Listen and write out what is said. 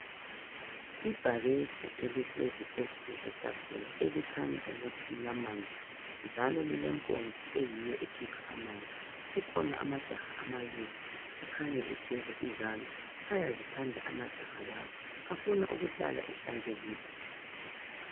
Ibhakede elihlezi phezu kwetafula elikhanya ukuthi lilamanzi njalo lilempompi eyiyo ekhipha amanzi kukhona amajaha amabili akhanya egeza izandla ayazithanda amajaha lawa afuna ukuhlala ehlanzekileyo.